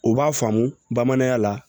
U b'a faamu bamananya la